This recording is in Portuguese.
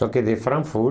Só que de Frankfurt,